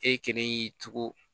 E kelen y'i tugu